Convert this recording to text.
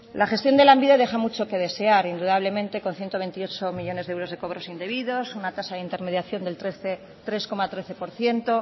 la gestión de lanbide deja mucho que desear indudablemente con ciento veintiocho millónes de euros de cobros indebidos una tasa de intermediación del tres coma trece por ciento